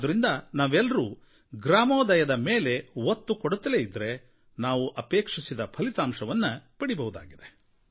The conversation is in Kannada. ಆದ್ದರಿಂದ ನಾವೆಲ್ಲರೂ ಗ್ರಾಮೋದಯದ ಮೇಲೆ ಒತ್ತು ಕೊಡುತ್ತಲೇ ಇದ್ದರೆ ನಾವು ಅಪೇಕ್ಷಿಸಿದ ಫಲಿತಾಂಶವನ್ನು ಪಡೆಯಬಹುದಾಗಿದೆ